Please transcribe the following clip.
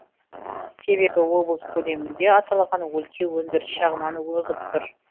себебі облыс көлемінде аталған өлке өндіріс жағынан озып тұр